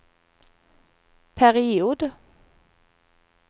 period